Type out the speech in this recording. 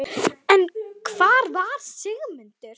En hvar var Sigmundur?